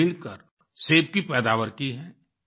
angel के साथ मिलकर सेब की पैदावार की है